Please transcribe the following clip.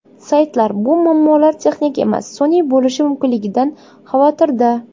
Saytlar bu muammolar texnik emas, sun’iy bo‘lishi mumkinligidan xavotirda.